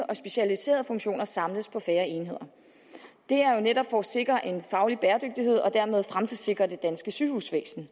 og specialiserede funktioner samles på færre enheder det er jo netop for at sikre en faglig bæredygtighed og dermed fremtidssikre det danske sygehusvæsen